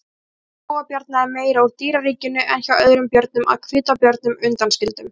Fæða skógarbjarna er meira úr dýraríkinu en hjá öðrum björnum að hvítabjörnum undanskildum.